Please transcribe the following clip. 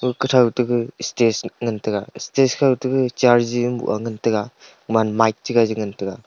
kathao taga stage ngan taga stage kao to chai jing ngan taga man mic chaga ngan taga.